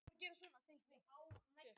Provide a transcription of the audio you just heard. Það er þó hægt að taka dæmi.